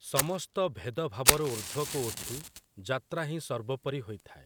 ସମସ୍ତ ଭେଦଭାବରୁ ଊର୍ଦ୍ଧ୍ଵକୁ ଉଠି, ଯାତ୍ରା ହିଁ ସର୍ବୋପରି ହୋଇଥାଏ ।